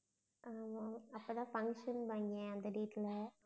ஆமாம். அப்போ தான் function ன்னுபாங்க எங்க வீட்ல